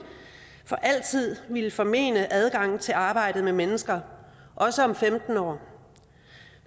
for altid ville formene adgangen til arbejdet med mennesker også om femten år